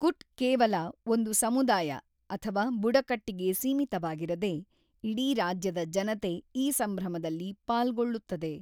ಕುಟ್ ಕೇವಲ ಒಂದು ಸಮುದಾಯ ಅಥವಾ ಬುಡಕಟ್ಟಿಗೆ ಸೀಮಿತವಾಗಿರದೇ, ಇಡೀ ರಾಜ್ಯದ ಜನತೆ ಈ ಸಂಭ್ರಮದಲ್ಲಿ ಪಾಲ್ಗೊಳ್ಳುತ್ತದೆ.